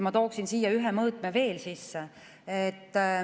Ma tooksin siia ühe mõõtme veel sisse.